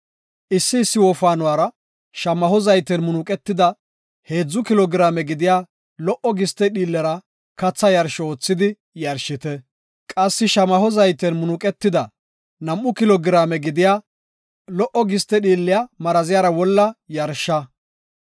Issi issi wofaanuwara shamaho zayten munuqetida heedzu kilo giraame gidiya lo77o giste dhiillera katha yarsho oothidi yarshite. Qassi shamaho zayten munuqetida nam7u kilo giraame gidiya lo77o giste dhiilliya maraziyara wolla yarsha.